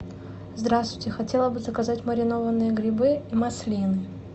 здравствуйте хотела бы заказать маринованные грибы и маслины